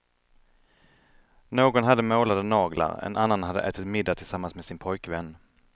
Någon hade målade naglar, en annan hade ätit middag tillsammans med sin pojkvän.